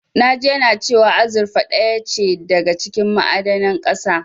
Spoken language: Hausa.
Na ji yana cewa azurfa ɗaya ce daga cikin ma'adanan ƙasa.